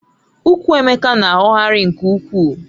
Ukwú Emeka na-aghọghari nke ukwuu